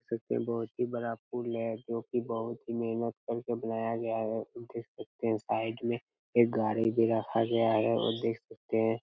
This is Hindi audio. देख सकते है बहुत ही बड़ा फूल है जो की बहुत ही मेहनत कर के बनाया गया है देख सकते है साइड में एक गाड़ी भी रखा गया है देख सकते है--